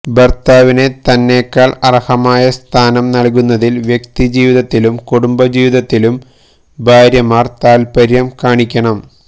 ഭർത്താവിനെ തന്നേക്കാൾ അർഹമായ സ്ഥാനം നൽകുന്നതിൽ വ്യക്തിജീവിതത്തിലും കുടുംബജീവിതത്തിലും ഭാര്യമാർ താൽപര്യം കാണിക്കണം